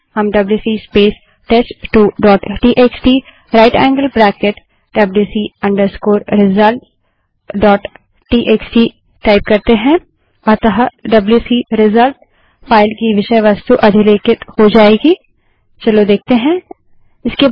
हम WC space test two dot TXT right angled bracket WC result dot TXT WC space test two dot TXT right angled bracket WC results dot TXT type करते हैं अतः WC result file की विषय वस्तु अधिलेखित हो जायेगी